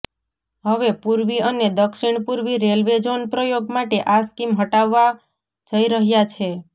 હવે પૂર્વી અને દક્ષિણ પૂર્વી રેલવે ઝોન પ્રયોગ માટે આ સ્કીમ હટાવવા જઈ રહ્યા છે